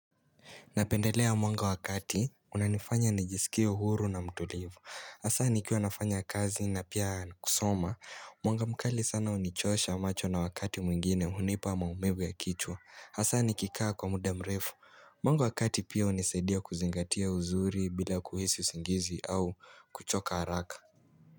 Napendelea mwanga wa kati, unanifanya nijisikie huru na mtulivu. Asa nikiwa nafanya kazi na pia kusoma, mwanga mkali sana unichosha macho na wakati mwingine hunipa maumivu ya kichwa. Asa nikikaa kwa muda mrefu. Mwanga wa kati pia unisaidia kuzingatia uzuri bila kuhisi usingizi au kuchoka haraka.